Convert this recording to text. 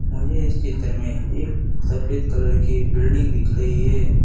मुझे इस चित्र मे एक सफेद कलर की बिल्डिंग दिख रही है।